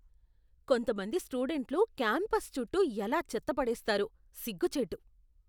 కొంతమంది స్టూడెంట్లు క్యాంపస్ చుట్టూ ఎలా చెత్త పడేస్తారో, సిగ్గుచేటు.